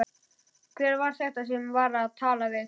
Hver var þetta sem ég var að tala við?